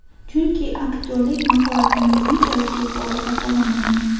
Chunki aktyorlik mahoratimni unchalik yuqori baholamayman.